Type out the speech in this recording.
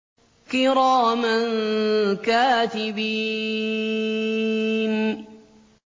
كِرَامًا كَاتِبِينَ